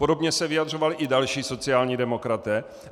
Podobně se vyjadřovali i další sociální demokraté.